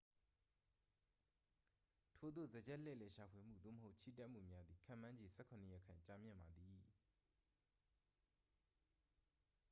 ထိုသို့ စားကျက်လှည့်လည်ရှာဖွေမှု သို့မဟုတ် ချီတက်မှုများသည် ခန့်မှန်းခြေ 17 ရက်ခန့် ကြာမြင့်ပါသည်